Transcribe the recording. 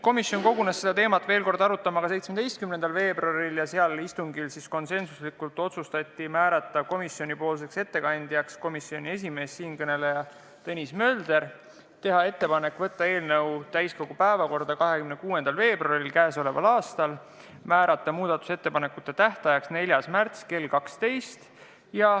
Komisjon kogunes seda teemat arutama ka 17. veebruaril ja sellel istungil otsustati konsensuslikult määrata komisjoni ettekandjaks komisjoni esimees Tõnis Mölder, teha ettepanek võtta eelnõu täiskogu päevakorda 26. veebruariks k.a ja määrata muudatusettepanekute tähtajaks 4. märts kell 12.